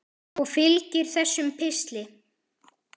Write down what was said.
Og fylgir þessum pistli.